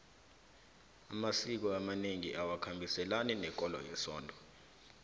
amasiko amanengi awakhambiselani nekolo wesonto